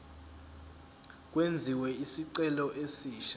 kwenziwe isicelo esisha